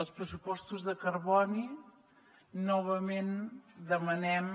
els pressupostos de carboni novament demanem